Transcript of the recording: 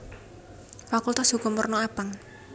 Fakultas Hukum werna abang